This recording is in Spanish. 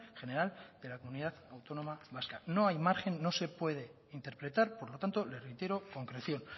general de la comunidad autónoma vasca no hay margen no se puede interpretar por lo tanto le reitero concreción